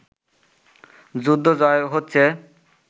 যুদ্ধ জয় হচ্ছে